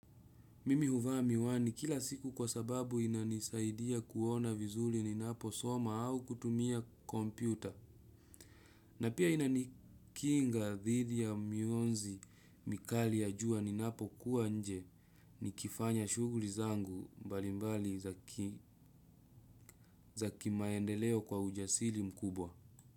Mimi huvaa miwani kila siku kwa sababu inanisaidia kuona vizuri ninaposoma au kutumia kompyuta. Na pia inanikinga dhidi ya mionzi mikali ya jua ninapokuwa nje nikifanya shughuli zangu mbalimbali za kimaendeleo kwa ujasiri mkubwa.